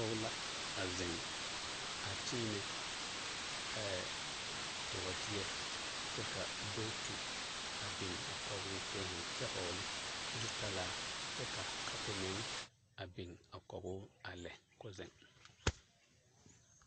Pɔge la a zeŋ a kyeenɛ bɔɔdeɛ kyɛ ka bootu a biŋ kɔgoo k'o zeŋ kyɛ hɔgele zutalaa kyɛ ka kapo meŋ a biŋ kɔgoo a lɛ k'o zeŋ.